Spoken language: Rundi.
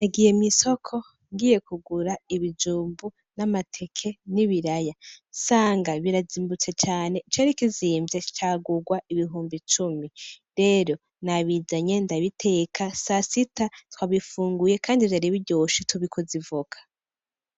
Nagiye mw'isoko ngiye kugura ibijumbu n'amateke n'ibiraya sanga birazimbutse cane icari kizimvye cagurwa ibihumbi cumi, rero nabizanye ndabiteka sasita twabifunguye Kandi Vyari biryoshe tubikoza ivoka .